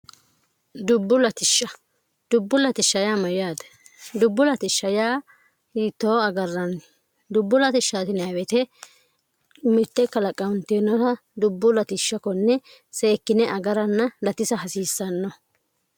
dubbu ltishsh dubbu ltss myaate dubbu lts yitoo agarranni dubbu lw mtt qt dubbu ltss 0 seekkine agaranna latisa hasiissanno